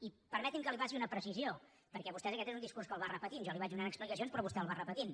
i permeti’m que li faci una precisió perquè vostès aquest és un discurs que el va repetint jo li vaig donant explicacions però vostè el va repetint